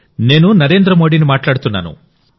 నేను నరేంద్ర మోదీని మాట్లాడుతున్నాను